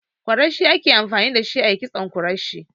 Kwarashi ake amfani dashi ayi kitson kwarashi.